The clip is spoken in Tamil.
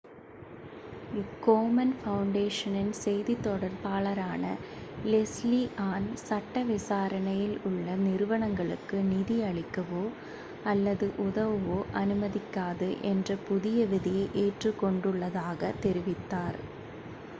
கோமன் ஃபவுண்டேஷனின் செய்தித் தொடர்பாளரான லெஸ்லீ ஆன் சட்ட விசாரணையில் உள்ள நிறுவனங்களுக்கு நிதி அளிக்கவோ அல்லது உதவவோ அனுமதிக்காது என்ற புதிய விதியை ஏற்றுக் கொண்டுள்ளதாகத் தெரிவித்தார்